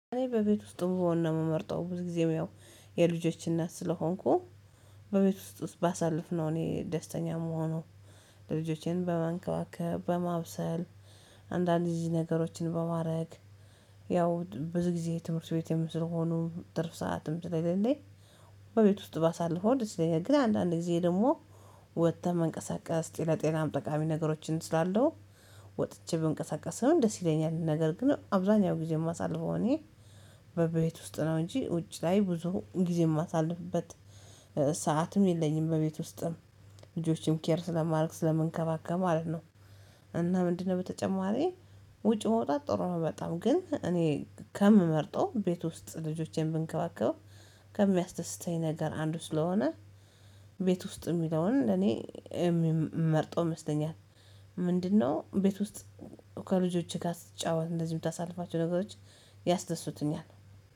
እኔ በቤት ውስጥ ብሆን ነው የምመርጠው ብዙ ጊዜም ያው የልጆች እናት ስለሆንኩ በቤት ውስጥ ባሳልፍነው እኔ ደስተኛ የምሆነው። ልጆቼን በመንከባከብ በማብሰል አንዳንድ እዚህ ነገሮችን በማድረግ። ያው ብዙ ጊዜ ትምህርት ቤት የምትል ሆኖ ትርፍ ሰዓትም ስለሌለኝ በቤት ውስጥ ባሳልፈው ደስ ይለኛል። እንደዚህ ግን አንዳንድ ጊዜ ደግሞ ወጥተህ መንቀሳቀስ ለጤናም ጠቃሚ ነገሮችን ስላለው ወጥቼ በእንቅስቃሴ ደስ ይለኛል። ነገር ግን አብዛኛው ጊዜ የማሳልፈው እኔ በቤት ውስጥ ነው እንጂ ውጭ ላይ ብዙ ጊዜ የማሳልፍበት ሰዓትም የለኝም። በቤት ውስጥም ልጆችን ኬር ስለማደርግ ስለምንከባከብ ማለት ነው፤። እና ምንድነው በተጨማሪ ውጭ መውጣት ጥሩ ነው በጣም ግን እኔ ከምመርጠው ቤት ውስጥ ልጆቼን ብንከባከብ ከሚያስደስተኝ ነገር አንዱ ስለሆነ። ቤት ውስጥ የሚለውን እኔ የምመርጠው ይመስለኛል። ምንድነው? ቤት ውስጥ ከልጆቼ ጋር ስትጫወት እንደዚህ የምታሳልፋቸው ነገሮች ያስደስቱኛል